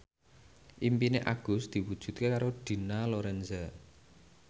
impine Agus diwujudke karo Dina Lorenza